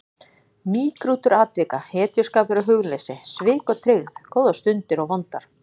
Mýgrútur atvika, hetjuskapur og hugleysi, svik og tryggð, góðar stundir og vondar.